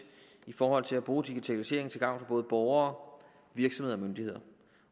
i forhold til at bruge digitaliseringen til gavn for både borgere virksomheder